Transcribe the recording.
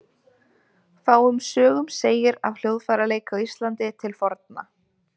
Fáum sögum segir af hljóðfæraleik á Íslandi til forna.